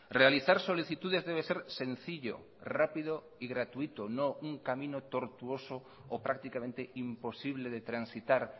realizar solicitudes debe ser sencillo rápido y gratuito no un camino tortuoso o prácticamente imposible de transitar